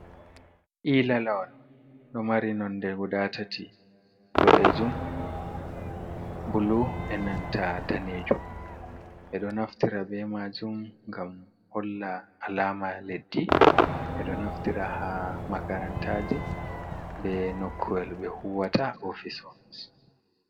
Ila lawal, ɗo mari nonde guda tati boɗejum bulu e nanta danejum ɓeɗo naftira be majum ngam holla alama leddi, ɓeɗo naftira ha makarantaji be nokuwel ɓe huwata ofis ofis.